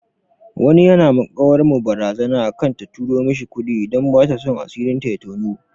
Wani yana ma ƙawar mu barazana akan ta turo mishi kuɗi idan bataso asirin ta ya toni.